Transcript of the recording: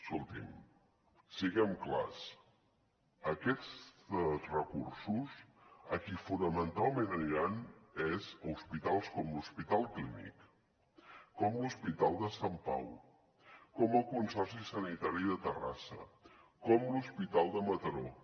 escolti’m siguem clars aquests recursos a qui fonamentalment aniran és a hospitals com l’hospital clínic com l’hospital de sant pau com el consorci sanitari de terrassa com l’hospital de mataró